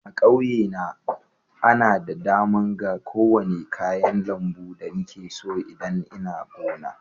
A'kauye na, nna da dama ga kowani kayan lambu da nike so idan nna gona.